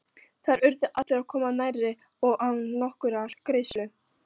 Þar urðu allir að koma nærri og án nokkurrar greiðslu.